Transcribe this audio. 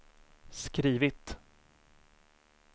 skrivit